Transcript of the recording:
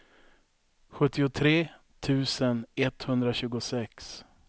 sjuttiotre tusen etthundratjugosex